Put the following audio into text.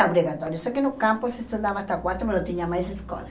obrigatório, só que no campus estudava até quarta, mas não tinha mais escola.